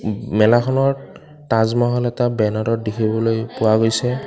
মেলাখনত তাজমহল এটা বেনাৰত দেখিবলৈ পোৱা গৈছে।